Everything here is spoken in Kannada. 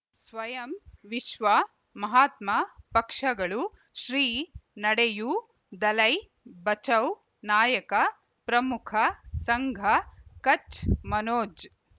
ಸ್ವಯಂ ವಿಶ್ವ ಮಹಾತ್ಮ ಪಕ್ಷಗಳು ಶ್ರೀ ನಡೆಯೂ ದಲೈ ಬಚೌ ನಾಯಕ ಪ್ರಮುಖ ಸಂಘ ಕಚ್ ಮನೋಜ್